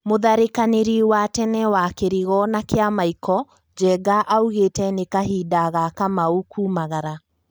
Mũtharikakanĩri wa tene wa kĩrigo na kĩamaiko, Njenga augete ni kahinda ka Kamau kuumagara